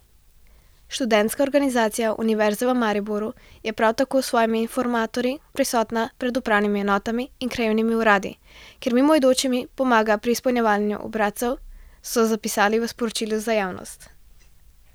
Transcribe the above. Študentska organizacija Univerze v Mariboru je prav tako s svojimi informatorji prisotna pred upravnimi enotami in krajevnimi uradi, kjer mimoidočim pomaga pri izpolnjevanju obrazcev, so zapisali v sporočilu za javnost.